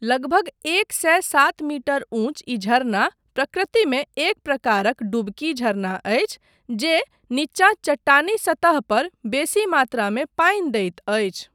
लगभग एक सए सात मीटर ऊँच ई झरना प्रकृतिमे एक प्रकारक 'डुबकी' झरना अछि जे नीचाँ चट्टानी सतह पर बेसी मात्रामे पानि दैत अछि।